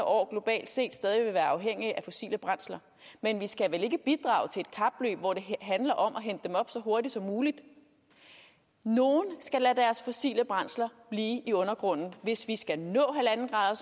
år globalt set stadig vil være afhængige af fossile brændsler men vi skal vel ikke bidrage til et kapløb hvor det handler om at hente dem op så hurtigt som muligt nogle skal lade deres fossile brændsler blive i undergrunden hvis vi skal nå